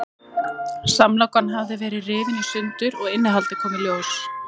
Samlokan hafði verið rifin í sundur og innihaldið kom í ljós.